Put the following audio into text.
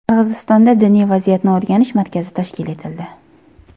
Qirg‘izistonda diniy vaziyatni o‘rganish markazi tashkil etildi.